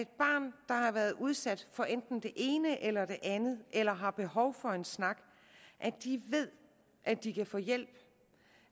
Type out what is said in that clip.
har været udsat for enten det ene eller det andet eller har behov for en snak ved at de kan få hjælp